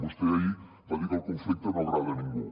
vostè ahir va dir que el conflicte no agrada a ningú